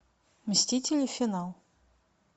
мстители финал